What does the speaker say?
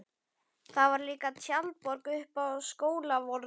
Það var líka tjaldborg uppi á Skólavörðuholti.